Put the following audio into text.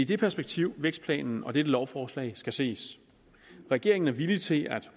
det perspektiv vækstplanen og dette lovforslag skal ses regeringen er villig til at